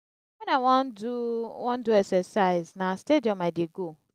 wen i wan do wan do exercise na stadium i dey go.